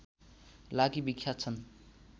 लागि विख्यात छन्